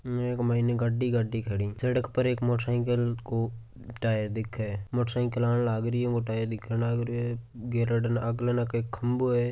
इके मायने गाड़ी गाड़ी खड़ी सड़क पर एक मोटरसाइकिल को टायर दिखे है मोटरसाइकिल आण ने लागरियों टायर दिखण लागरियों आगले नाके एक खंबों है।